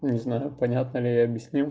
не знаю понятно ли я объяснил